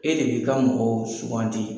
E de b'i ka mɔgɔw sugandi.